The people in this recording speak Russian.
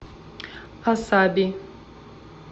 асаби